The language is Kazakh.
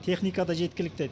техника да жеткілікті